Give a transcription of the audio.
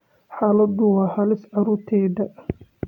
Xaaladdu waa halis carruurtayda